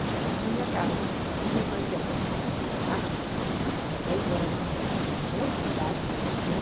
E foi a minha casa, e minha mãe que abriu a porta, era tarde já, era dez horas da noite, era muito tarde, né?